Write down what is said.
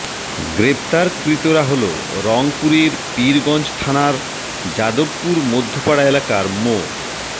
গ্রেপ্তারকৃতরা হলো রংপুরের পীরগঞ্জ থানার যাদবপুর মধ্যপাড়া এলাকার মো